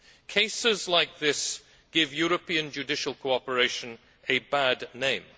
Cases like this give European judicial cooperation a bad name.